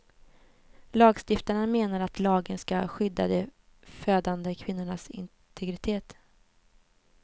Lagstiftarna menar att lagen ska skydda de födande kvinnornas integritet.